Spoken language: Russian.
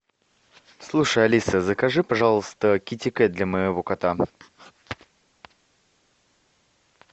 слушай алиса закажи пожалуйста китикет для моего кота